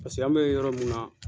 Paseke an be yɔrɔ min na